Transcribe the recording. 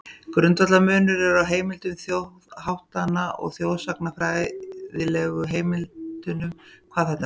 Grundvallarmunur er á heimildum þjóðháttanna og þjóðsagnafræðilegu heimildunum hvað þetta varðar.